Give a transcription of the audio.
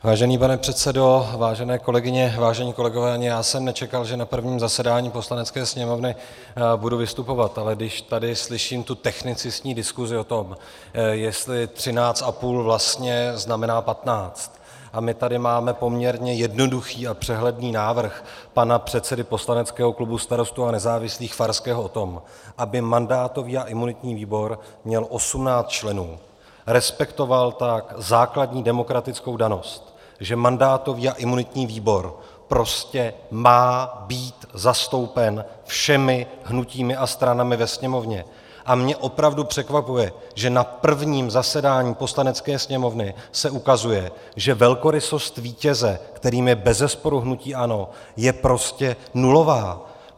Vážený pane předsedo, vážené kolegyně, vážení kolegové, ani já jsem nečekal, že na prvním zasedání Poslanecké sněmovny budu vystupovat, ale když tady slyším tu technicistní diskuzi o tom, jestli 13,5 vlastně znamená 15, a my tady máme poměrně jednoduchý a přehledný návrh pana předsedy poslaneckého klubu Starostů a nezávislých Farského o tom, aby mandátový a imunitní výbor měl 18 členů, respektoval tak základní demokratickou danou, že mandátový a imunitní výbor prostě má být zastoupen všemi hnutími a stranami ve Sněmovně, a mně opravdu překvapuje, že na prvním zasedání Poslanecké sněmovny se ukazuje, že velkorysost vítěze, kterým je bezesporu hnutí ANO, je prostě nulová!